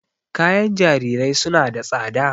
Kayan jarirai suna da tsada.